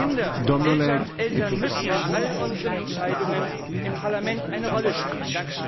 Kinder und Eltern müssen in all unseren Entscheidungen im Parlament eine Rolle spielen.